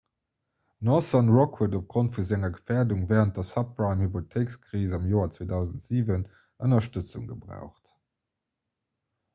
northern rock huet opgrond vu senger gefäerdung wärend der subprime-hypothéikekris am joer 2007 ënnerstëtzung gebraucht